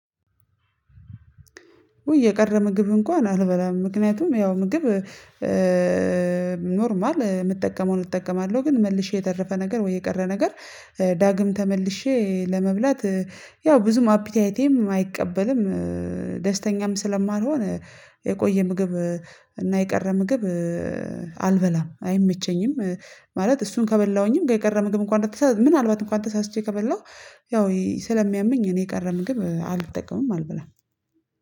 ውይ የቀረ ምግብ እንኳን አልበላም። ምክንያቱም ያው ምግብ ኖርማል የምጠቀመውን እጠቀማለሁ። ግን መልሼ የተረፈ ነገር ወይ የቀረ ነገር ዳግም ተመልሼ ለመብላት ያው ብዙም አፒታይቴም አይቀበልም። ደስተኛም ስለማልሆን የቆየ ምግብ እና የቀረ ምግብ አልበላም አይመቸኝም። ማለት እሱን ከበላሁኝም ጋ የቀረ ምግብ እንኳን ምናልባት እንኳን ተሳስቼ ከበላሁ ያው ስለሚያመኝ እኔ የቀረ ምግብ አልጠቀምም። አልብላም